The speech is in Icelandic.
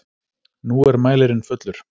Nú er mælirinn fullur!